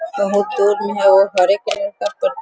बहुत दूर में है और हरे कलर का --